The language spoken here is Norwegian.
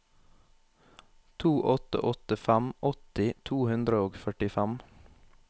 to åtte åtte fem åtti to hundre og førtifem